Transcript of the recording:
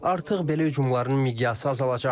Artıq belə hücumların miqyası azalacaq.